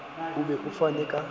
o be o fane ka